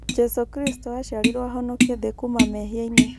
Jesũ kristũ aciarirwo ahonokie thĩ kuuma mehia-inĩ